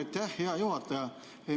Suur aitäh, hea juhataja!